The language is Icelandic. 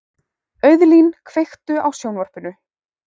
Auðlín, kveiktu á sjónvarpinu.